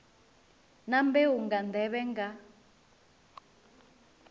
na mbeu nga nḓevhe nga